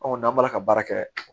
n'an b'a la ka baara kɛ